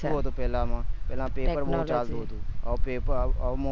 પેહલા સુ હતું પેહલા માં પેપર બહુ ચાલતા હતા હવે પેપર